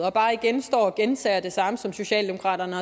og bare igen står og gentager det samme som socialdemokraterne